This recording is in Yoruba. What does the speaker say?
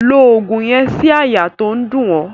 Lo ògùn yen sí àyà to n dún o